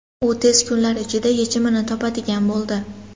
U tez kunlar ichida yechimini topadigan bo‘ldi.